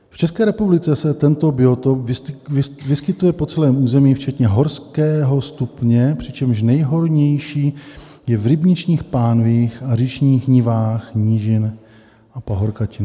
V České republice se tento biotop vyskytuje po celém území včetně horského stupně, přičemž nejhojnější je v rybničních pánvích a říčních nivách nížin a pahorkatin.